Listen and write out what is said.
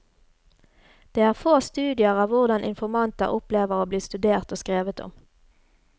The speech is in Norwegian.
Det er få studier av hvordan informanter opplever å bli studert og skrevet om.